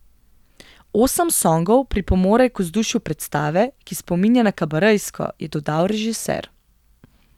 Osem songov pripomore k vzdušju predstave, ki spominja na kabarejsko, je dodal režiser.